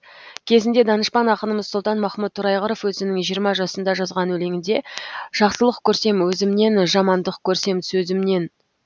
кезінде данышпан ақынымыз сұлтанмахмұт торайғыров өзінің жиырма жасында жазған өлеңінде жақсылық көрсем өзімнен жамандық көрсем сөзімнен